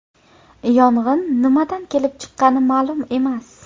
Yong‘in nimadan kelib chiqqani ma’lum emas.